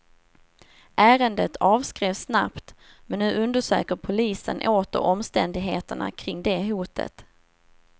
Ärendet avskrevs snabbt, men nu undersöker polisen åter omständigheterna kring det hotet.